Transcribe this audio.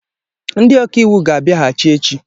Ndị ọkaiwu ga-abia hachi echi.